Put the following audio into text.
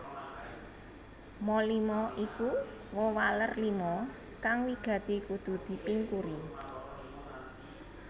Ma lima iku wewaler lima kang wigati kudu dipingkuri